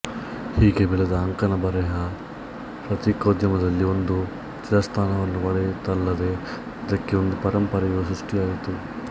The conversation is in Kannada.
ಹೀಗೆ ಬೆಳೆದ ಅಂಕಣ ಬರೆಹ ಪತ್ರಿಕೋದ್ಯಮದಲ್ಲಿ ಒಂದು ಚಿರಸ್ಥಾನವನ್ನು ಪಡೆಯಿತಲ್ಲದೆ ಇದಕ್ಕೆ ಒಂದು ಪರಂಪರೆಯೂ ಸೃಷ್ಟಿಯಾಯಿತು